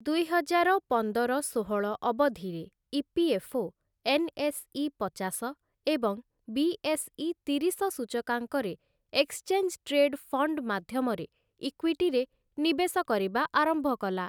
ଦୁଇହଜାର ପନ୍ଦର ଷୋହଳ ଅବଧିରେ ଇ.ପି.ଏଫ୍‌.ଓ. ଏନ୍‌.ଏସ୍‌.ଇ. ପଚାଶ ଏବଂ ବି.ଏସ୍‌.ଇ. ତିରିଶ ସୂଚକାଙ୍କରେ ଏକ୍ସଚେଞ୍ଜ ଟ୍ରେଡ୍‌ ଫଣ୍ଡ ମାଧ୍ୟମରେ ଇକ୍ୱିଟିରେ ନିବେଶ କରିବା ଆରମ୍ଭ କଲା ।